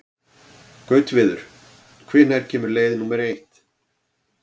Gautviður, hvenær kemur leið númer eitt?